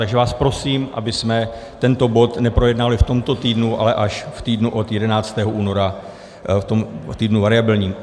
Takže vás prosím, abychom tento bod neprojednávali v tomto týdnu, ale až v týdnu od 11. února, v týdnu variabilním.